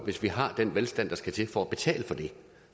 hvis vi har den velstand der skal til for at betale for det